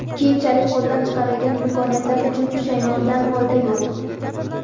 keyinchalik qo‘ldan chiqarilgan imkoniyatlar uchun pushaymondan foyda yo‘q.